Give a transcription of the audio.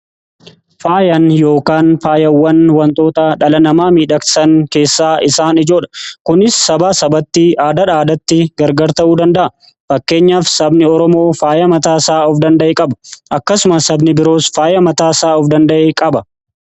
Faayaan yookaan faayawwan wantoota dhala namaa miidhagsan keessaa isaan ijoodha. Kunis sabaa sabatti aadaadhaa aadaatti gargar ta'uu danda'a. Fakkeenyaaf sabni Oromoo faaya mataa isaa of danda'e qaba. Akkasumas sabni biroos faaya mataa isaa of danda'e qaba.